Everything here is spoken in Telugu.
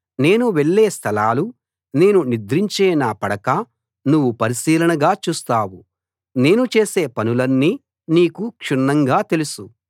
నేను వెళ్ళే స్థలాలు నేను నిద్రించే నా పడక నువ్వు పరిశీలనగా చూస్తావు నేను చేసే పనులన్నీ నీకు క్షుణ్ణంగా తెలుసు